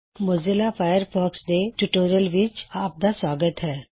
Mozilla Firefox ਦੇ tutorial ਵਿੱਚ ਆਪ ਦਾ ਸੁਆਗਤ ਹੈ